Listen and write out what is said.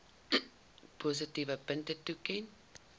positiewe punte toeken